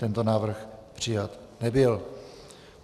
Tento návrh přijat nebyl.